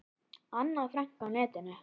Anna Frank á netinu.